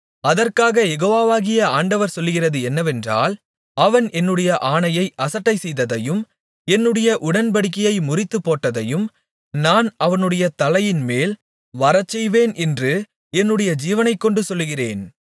அதற்காக யெகோவாகிய ஆண்டவர் சொல்லுகிறது என்னவென்றால் அவன் என்னுடைய ஆணையை அசட்டைசெய்ததையும் என்னுடைய உடன்படிக்கையை முறித்துப்போட்டதையும் நான் அவனுடைய தலையின்மேல் வரச்செய்வேன் என்று என்னுடைய ஜீவனைக்கொண்டு சொல்லுகிறேன்